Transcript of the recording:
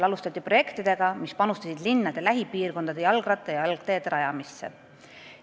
Alustati projektidega, millega panustati linnade lähipiirkondade jalgratta- ja jalgteede rajamisse.